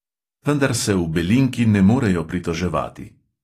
Vendar se v belinki ne morejo pritoževati.